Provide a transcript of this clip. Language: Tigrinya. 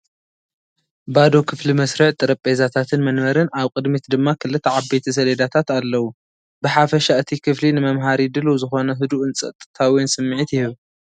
ባዶ ክፍሊ መስርዕ ጠረጴዛታትን መንበርን፡ ኣብ ቅድሚት ድማ ክልተ ዓበይቲ ሰሌዳታት ኣለዉ። ብሓፈሻ እቲ ክፍሊ ንመምሃሪ ድሉው ዝኾነ ህዱእን ፀጥታዊን ስምዒት ይህብ።